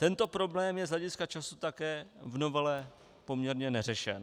Tento problém je z hlediska času také v novele poměrně neřešen.